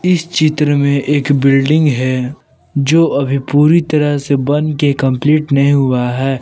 इस चित्र में एक बिल्डिंग है जो अभी पूरी तरह से बन के कंप्लीट नहीं हुआ है।